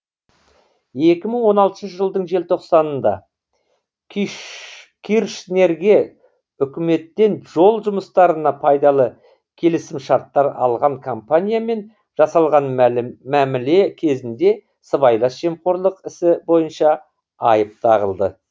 екі мың он алтыншы жылдың желтоқсанында киршнерге үкіметтен жол жұмыстарына пайдалы келісімшарттар алған компаниямен жасалған мәміле кезінде сыбайлас жемқорлық ісі бойынша айып тағылды